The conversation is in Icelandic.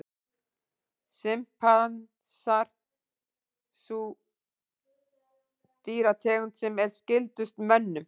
Simpansar er sú dýrategund sem er skyldust mönnum.